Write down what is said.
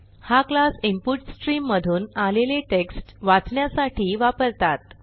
हा class input stream मधून आलेले टेक्स्ट वाचण्यासाठी वापरतात